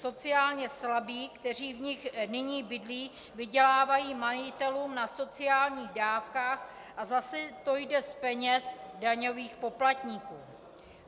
Sociálně slabí, kteří v nich nyní bydlí, vydělávají majitelům na sociálních dávkách a zase to jde z peněz daňových poplatníků.